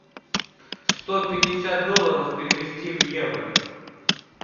сто пятьдесят долларов перевести в евро